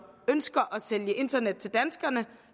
ønsker at sælge internet til danskerne